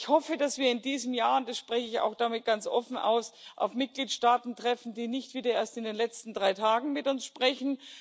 Ich hoffe, dass wir in diesem Jahr und das spreche ich auch damit ganz offen aus auf Mitgliedstaaten treffen, die nicht wieder erst in den letzten drei Tagen mit uns sprechen